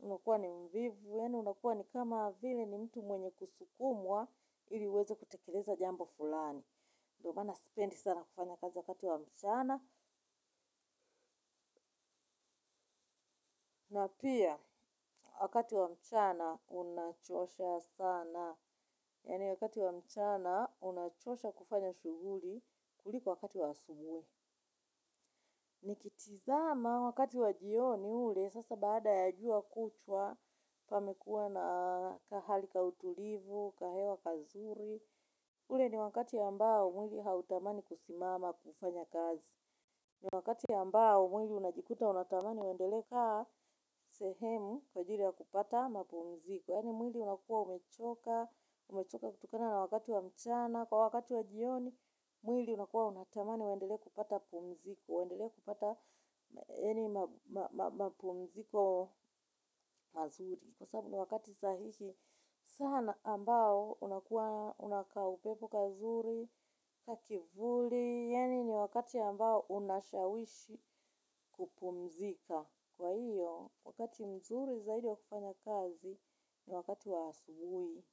unakuwa ni mvivu. Yaani unakuwa ni kama vile ni mtu mwenye kusukumwa, ili uweze kutekeleza jambo fulani. Ndio maana sipendi sana kufanya kazi wakati wa mchana. Na pia, wakati wa mchana, unachosha sana. Yaani wakati wa mchana, unachosha kufanya shughuli kuliko wakati wa asubuhi. Nikitizama wakati wa jioni ule, sasa baada ya jua kuchwa, pamekuwa na kahali ka utulivu, kahewa kazuri. Ule ni wakati ambao mwili hautamani kusimama kufanya kazi. Ni wakati ambao mwili unajikuta unatamani uendelee kukaa sehemu kwa ajili ya kupata mapumziko. Yaani mwili unakuwa umechoka kutokana na wakati wa mchana kwa wakati wa jioni. Mwili unakuwa unatamani uendelee kupata pumziko uendele kupata yaani mapumziko mazuri. Kwa sababu ni wakati sahihi sana ambao una kaupepo kazuri, kakivuli, yaani ni wakati ambao unashawishi kupumzika. Kwa hiyo, wakati mzuri zaidi wa kufanya kazi ni wakati wa asubuhi.